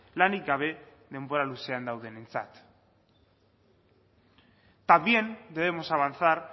lanik gabe denbora luzean daudenentzat también debemos avanzar